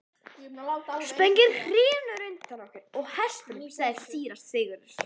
Spöngin hrynur undan okkur og hestunum, sagði síra Sigurður.